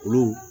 Olu